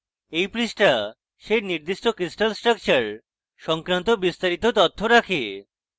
এই পৃষ্ঠা সেই নির্দিষ্ট crystal structure সংক্রান্ত বিস্তারিত তথ্য রাখে